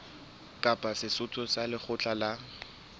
kapa setho sa lekgotla la